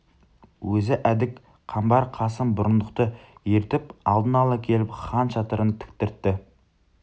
өзі әдік қамбар қасым бұрындықты ертіп алдын ала келіп хан шатырын тіктіртті